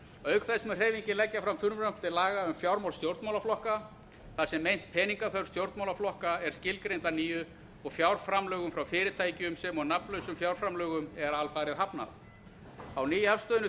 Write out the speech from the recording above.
auk þess mun hreyfingin leggja fram frumvarp til laga um fjármál stjórnmálaflokka þar sem meint peningaþörf stjórnmálaflokka er skilgreind að nýju og fjárframlögum frá fyrirtækjum sem og nafnlausum fjárframlögum er alfarið hafnað á nýafstöðnu